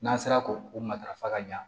N'an sera k'o o matarafa ka ɲa